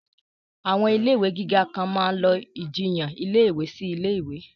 Àwọn ilé ìwé gíga kan máa lọ ìjiyàn ilé ìwé sí ilé ìwé